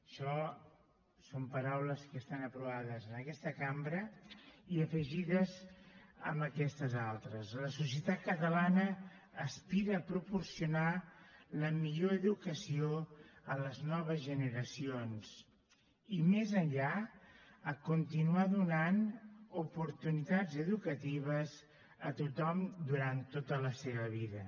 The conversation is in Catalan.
això són paraules que estan aprovades en aquesta cambra i afegides a aquestes altres la societat catalana aspira a proporcionar la millor educació a les noves generacions i més enllà a continuar donant oportunitats educatives a tothom durant tota la seva vida